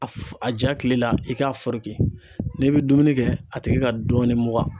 Aff a ja kile la i k'a foroki n'i bɛ dumuni kɛ a tigi ka dɔɔnin mugan.